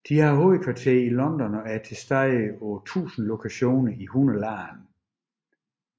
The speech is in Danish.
De har hovedkvarter i London og er tilstede på 1000 lokationer i 100 lande